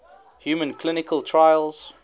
human clinical trials